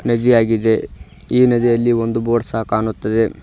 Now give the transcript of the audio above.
ನದಿಯಾಗಿದೆ ಈ ನದಿಯಲ್ಲಿ ಒಂದು ಬೋರ್ಡ್ ಸಹ ಕಾಣುತ್ತದೆ.